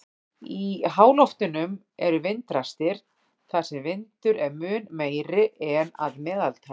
Í háloftunum eru vindrastir þar sem vindur er mun meiri en að meðaltali.